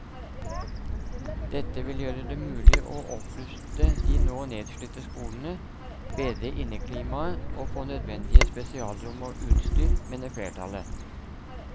Dette vil gjøre det mulig å oppruste de nå nedslitte skolene, bedre inneklimaet og få nødvendige spesialrom og utstyr, mener flertallet.